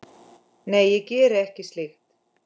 Nei, ég geri ekki slíkt.